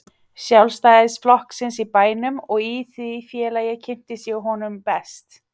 Sjálfstæðisflokksins í bænum og í því félagi kynntist ég honum best.